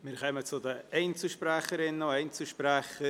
Wir kommen zu den Einzelsprecherinnen und Einzelsprechern.